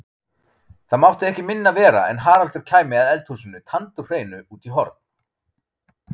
Það mátti ekki minna vera en Haraldur kæmi að eldhúsinu tandurhreinu út í horn.